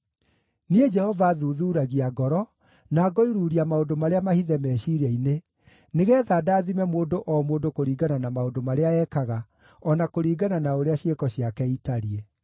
“Niĩ Jehova thuthuuragia ngoro, na ngoiruuria maũndũ marĩa mahithe meciiria-inĩ, nĩgeetha ndaathime mũndũ o mũndũ kũringana na maũndũ marĩa ekaga, o na kũringana na ũrĩa ciĩko ciake itariĩ.”